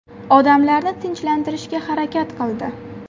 Odamlarni tinchlantirishga harakat qildi.